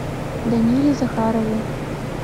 даниле захарове